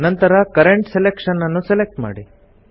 ನಂತರ current selection ನ್ನು select ಮಾಡಿ